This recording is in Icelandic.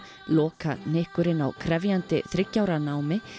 lokahnykkurinn á krefjandi þriggja ára námi